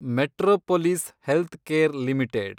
Metropolis Healthcare limited